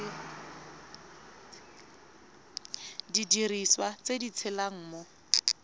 didiriswa tse di tshelang mo